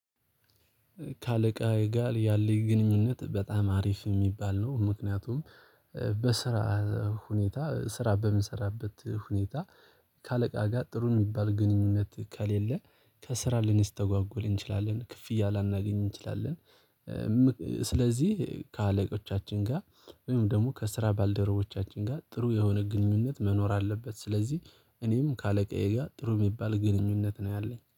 ከአለቃ ጋር ያለው ግንኙነት በጣም አሪፍ የሚባል ነው። ምክንያቱም በስራ ሁኔታ ስራ በምንሰራበት ሁኔታ ከአለቃ ጋር ጥሩ የሚባል ግንኙነት ከሌለ ከስራ ልንስተጓጎል እንችላለን ክፍያ ላናገኝ እንችላለን። ስለዚህ ከአለቆቻችን ጋር ወይም ደግሞ ከስራ ባልደረቦቻችን ጋር ጥሩ የሆነ ግንኙነት መኖር አለበት። ስለዚህ እኔም ከአለቃዬ ጋር ጥሩ የሚባል ግንኙነት ነው አለኝ